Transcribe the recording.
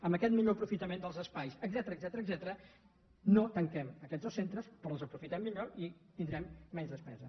amb aquest millor aprofitament dels espais etcètera no tanquem aquests dos centres però els aprofitem millor i tindrem menys despesa